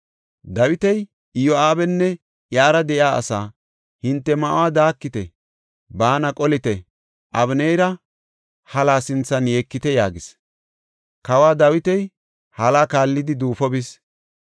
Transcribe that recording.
Dawiti Iyo7aabanne iyara de7iya asaa, “Hinte ma7uwa daakite; baana qolite; Abeneera halaa sinthan yeekite” yaagis. Kawo Dawiti hala kaallidi duufo bis.